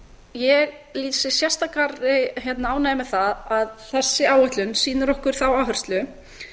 ég lýsi sérstakri ánægju með það að þessi áætlun sýnir okkur þá áherslu